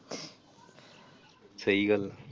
ਸਹੀ ਗੱਲ ਆ।